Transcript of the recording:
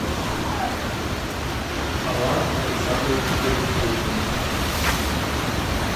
алан александрович гайфуллин